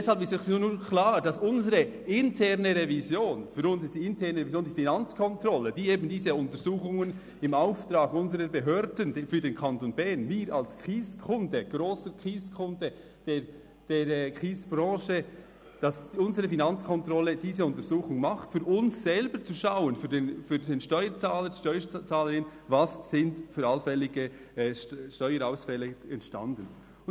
Deshalb ist nun klar, dass für unsere interne Revision, die Finanzkontrolle, diese Untersuchung im Auftrag unserer Behörden für den Kanton Bern – für uns als Kieskunde, als grosser Kieskunde der Kiesbranche – macht, für uns selber, für den Steuerzahler, die Steuerzahlerin, und dass sie schaut, welche allfälligen Steuerausfälle entstanden sind.